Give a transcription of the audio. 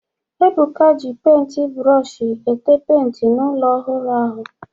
Ebuka ji penti brooshi été penti n'ụlọ ọhụrụ ahụ